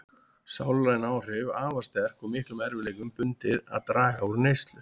Sálræn áhrif afar sterk og miklum erfiðleikum bundið að draga úr neyslu.